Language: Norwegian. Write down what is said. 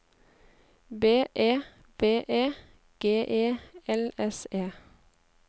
B E V E G E L S E